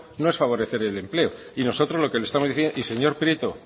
no es favorecer el empleo y nosotros lo que le estamos diciendo y señor prieto